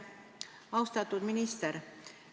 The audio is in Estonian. Austatud minister!